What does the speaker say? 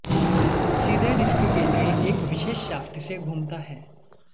सीधे डिस्क के लिए एक विशेष शाफ्ट से घूमता है